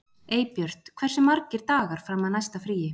Eybjört, hversu margir dagar fram að næsta fríi?